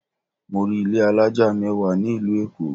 Mọ rí ilé alájà mẹ́wàá ní ìlú Èkó.